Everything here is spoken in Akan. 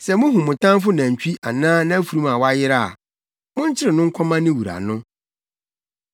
“Sɛ muhu mo tamfo nantwi anaa nʼafurum a wayera a, monkyere no nkɔma ne wura no.